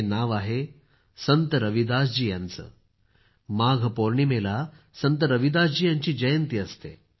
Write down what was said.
हे नाव आहे संत रविदास जी यांचं माघ पौर्णिमेला संत रविदास जी यांची जयंती असते